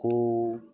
Ko